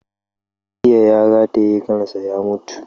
Jiya ya rataye kansa ya mutu